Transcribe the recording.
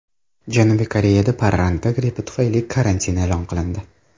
Janubiy Koreyada parranda grippi tufayli karantin e’lon qilindi.